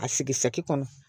A sigi saki kɔnɔ